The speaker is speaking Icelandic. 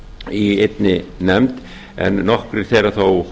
í einni nefnd en nokkrir þeirra þó